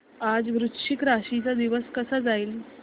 आज वृश्चिक राशी चा दिवस कसा जाईल